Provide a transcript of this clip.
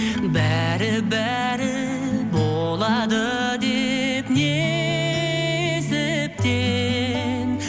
бәрі бәрі болады деп несіптен